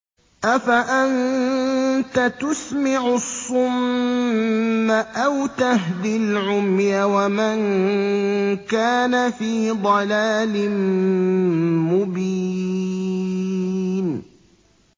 أَفَأَنتَ تُسْمِعُ الصُّمَّ أَوْ تَهْدِي الْعُمْيَ وَمَن كَانَ فِي ضَلَالٍ مُّبِينٍ